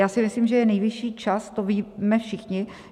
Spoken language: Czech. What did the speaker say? Já si myslím, že je nejvyšší čas, to víme všichni.